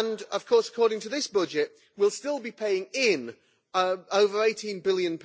Of course, according to this budget, we will still be paying in over GBP 18 billion